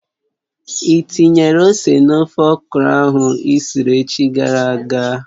Ị tinyere ose n'ofe okro ahụ isiri echi gara aga?